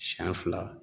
Siɲɛ fila